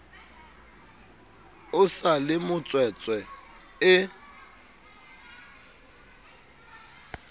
o sa le motswetse e